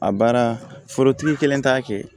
A baara forotigi kelen t'a kɛ